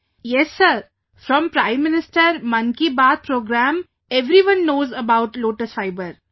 Vijayashanti ji yes sir, from Prime Minister 'Mann ki Baat' program everyone knows about lotus fiber